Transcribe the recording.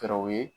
Fɛɛrɛw ye